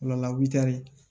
Ola witɛri